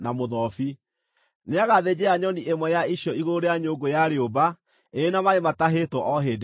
Nĩagathĩnjĩra nyoni ĩmwe ya icio igũrũ rĩa nyũngũ ya rĩũmba ĩrĩ na maaĩ matahĩtwo o hĩndĩ ĩyo.